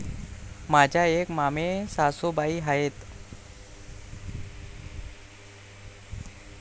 माझ्या एक मामेसासुबाई आहेत.